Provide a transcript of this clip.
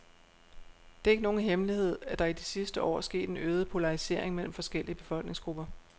Det er ikke nogen hemmelighed, at der i de sidste år er sket en øget polarisering mellem forskellige befolkningsgrupper.